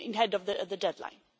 of the deadline.